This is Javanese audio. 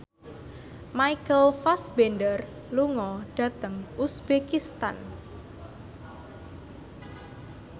Michael Fassbender lunga dhateng uzbekistan